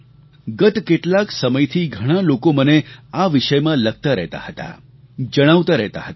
ગત કેટલાક સમયથી ઘણા લોકો મને આ વિષયમાં લખતા રહેતા હતા જણાવતા રહેતા હતા